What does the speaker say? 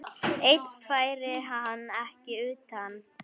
Einn færi hann ekki utan.